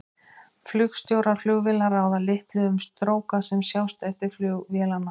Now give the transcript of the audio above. Flugstjórar flugvéla ráða litlu um stróka sem sjást eftir flug vélanna.